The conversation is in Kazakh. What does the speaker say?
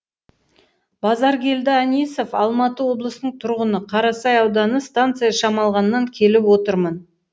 базаркелді анисов алматы облысының тұрғыны қарасай ауданы станция шамалғаннан келіп отырмын